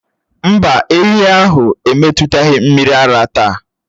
Mbá, ehi ahụ emetụtaghị mmiri ara táá